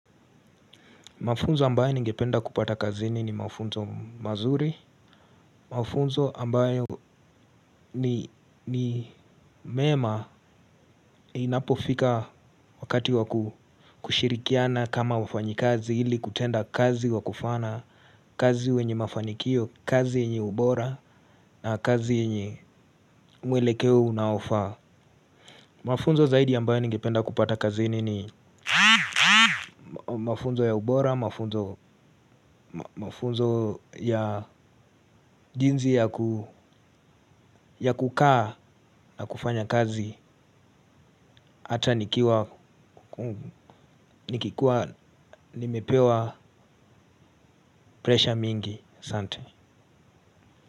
Mafunzo ambayo ningependa kupata kazini ni mafunzo mazuri. Mafunzo ambayo ni mema inapofika wakati wa kushirikiana kama wafanyikazi ili kutenda kazi wa kufana, kazi wenye mafanikio, kazi yenye ubora na kazi yenye mwelekeo unaofaa. Mafunzo zaidi ambayo ningipenda kupata kazini ni mafunzo ya ubora, mafunzo ya jinzi ya kukaa na kufanya kazi. Ata nikikuwa nimepewa pressure mingi, asante.